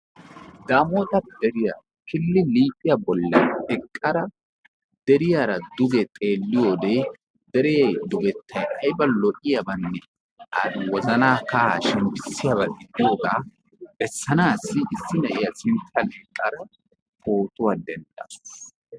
Daamoota deriya killi liiphiya bollan eqqada deriyara duge xeelliyo wode deree dugettayi ayba lo"iyabanne ha wozanaa kahaa shemppissiyaba gidiyoogaa bessanaassi issi na"iya sinttan eqqada pootuwa denddawus.